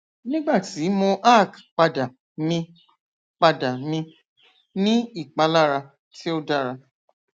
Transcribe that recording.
nigbati mo arch pada mi pada mi ni ipalara ti o dara